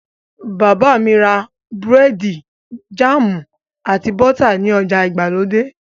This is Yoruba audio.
Bàbá mi ra búrẹ́dì, jáàmù, àti bọ́tà ní ọjà ìgbàlódé.